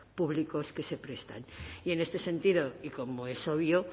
públicos que se prestan y en este sentido y como es obvio